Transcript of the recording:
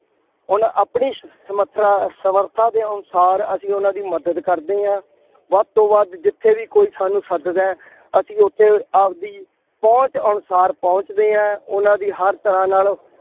ਉਹਨਾ ਆਪਣੀ ਸਮਥਰਾ, ਸਮੱਰਥਾ ਦੇ ਅਨੁਸਾਰ ਅਸੀਂ ਉਹਨਾ ਦੀ ਮਦਦ ਕਰਦੇ ਹਾਂ। ਵੱਧ ਤੋਂ ਵੱਧ ਜਿੱਥੇ ਵੀ ਕੋਈ ਸਾਨੂੰ ਸੱਦਦਾ ਹੈ। ਅਸੀਂ ਉੱਥੇ ਆਪਦੀ ਪਹੁੰਚ ਅਨੁਸਾਰ ਪਹੁੰਚਦੇ ਹਾਂ। ਉਹਨਾ ਦੀ ਹਰ ਤਰ੍ਹਾ ਨਾਲ